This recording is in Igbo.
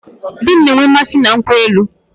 Di m na-enwe mmasị na nkwụ elu